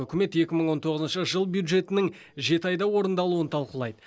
үкімет екі мың он тоғызыншы жыл бюджетінің жеті айда орындалуын талқылайды